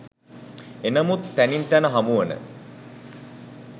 එනමුත් තැනින් තැන හමුවන